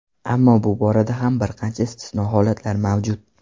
Ammo bu borada ham bir qancha istisno holatlar mavjud.